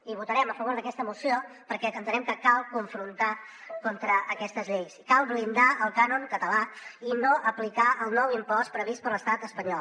i votarem a favor d’aquesta moció perquè entenem que cal confrontar contra aquestes lleis cal blindar el cànon català i no aplicar el nou impost previst per l’estat espanyol